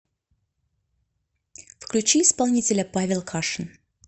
включи исполнителя павел кашин